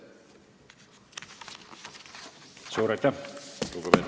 Suur aitäh!